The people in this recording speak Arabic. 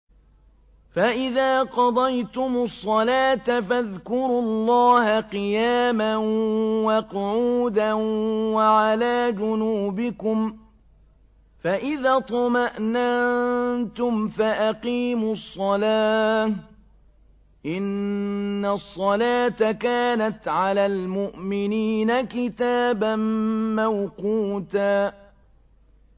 فَإِذَا قَضَيْتُمُ الصَّلَاةَ فَاذْكُرُوا اللَّهَ قِيَامًا وَقُعُودًا وَعَلَىٰ جُنُوبِكُمْ ۚ فَإِذَا اطْمَأْنَنتُمْ فَأَقِيمُوا الصَّلَاةَ ۚ إِنَّ الصَّلَاةَ كَانَتْ عَلَى الْمُؤْمِنِينَ كِتَابًا مَّوْقُوتًا